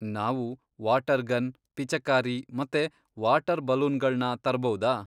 ನಾವು water gun, ಪಿಚಕಾರಿ ಮತ್ತೆ ವಾಟರ್ ಬಲೂನ್ಗಳ್ನ ತರ್ಬೌದಾ?